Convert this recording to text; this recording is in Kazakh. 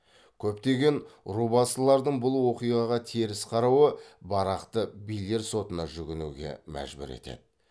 көптеген рубасылардың бұл оқиғаға теріс қарауы барақты билер сотына жүгінуге мәжбүр етеді